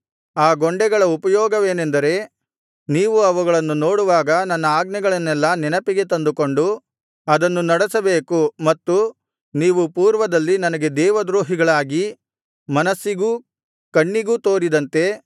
ಆ ಗೊಂಡೆಗಳ ಉಪಯೋಗವೇನೆಂದರೆ ನೀವು ಅವುಗಳನ್ನು ನೋಡುವಾಗ ನನ್ನ ಆಜ್ಞೆಗಳನ್ನೆಲ್ಲಾ ನೆನಪಿಗೆ ತಂದುಕೊಂಡು ಅದನ್ನು ನಡೆಸಬೇಕು ಮತ್ತು ನೀವು ಪೂರ್ವದಲ್ಲಿ ನನಗೆ ದೇವದ್ರೋಹಿಗಳಾಗಿ ಮನಸ್ಸಿಗೂ ಕಣ್ಣಿಗೂ ತೋರಿದಂತೆ